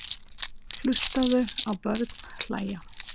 Hlustaðu á börn hlæja.